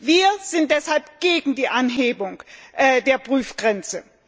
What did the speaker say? Wir sind deshalb gegen die Anhebung der Prüfgrenze.